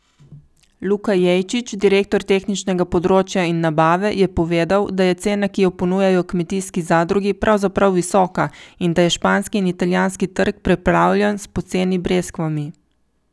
Luka Jejčič, direktor tehničnega področja in nabave, je povedal, da je cena, ki jo ponujajo kmetijski zadrugi, pravzaprav visoka in da je španski in italijanski trg preplavljen s poceni breskvami.